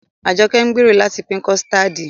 Ajoke ń gbèrò láti pín kọ̀stáádì